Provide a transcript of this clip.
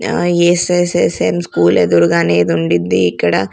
ఆ S S S M school ఎదురుగా నే ఇది ఉన్డిద్ది ఇక్కడ.